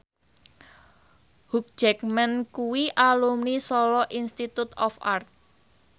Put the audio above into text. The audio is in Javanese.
Hugh Jackman kuwi alumni Solo Institute of Art